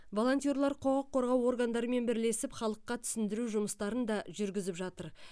волонтерлар құқық қорғау органдарымен бірлесіп халыққа түсіндіру жұмыстарын да жүргізіп жатыр